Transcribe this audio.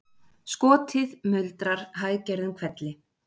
Skotið muldrar hæggerðum hvelli